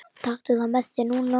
Taktu það með þér núna!